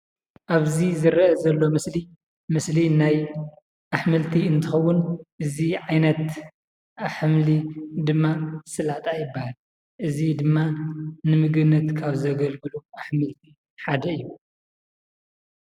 ኣብዚ ዝረአ ዘሎ ምስሊ ምስሊ ናይ ኣሕምልቲ እንትከውን እዚ ዓይነት ሓምሊ ድማ ሰላጣ ይባሃል። እዚ ድማ ንምግብነት ካብ ዘገልግሉ ኣሕምልቲ ሓደ እዩ።